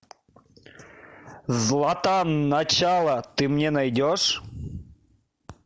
златан начало ты мне найдешь